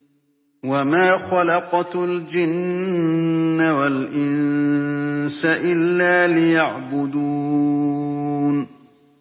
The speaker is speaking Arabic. وَمَا خَلَقْتُ الْجِنَّ وَالْإِنسَ إِلَّا لِيَعْبُدُونِ